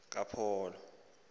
kaphalo